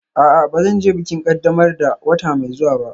A'a, ba zan je bikin ƙaddamar da wata mai zuwa ba